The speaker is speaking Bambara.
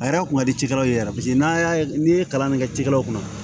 A yɛrɛ kun ka di cikɛlaw ye yɛrɛ paseke n'a y'a ye n'i ye kalan min kɛ cikɛlaw kunna